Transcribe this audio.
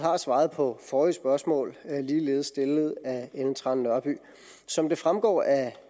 har svaret på forrige spørgsmål ligeledes stillet af fru ellen trane nørby som det fremgår af